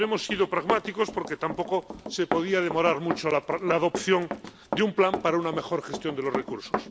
Pero hemos sido pragmáticos, porque tampoco se podía demorar mucho la adopción de un plan para una mejor gestión de los recursos.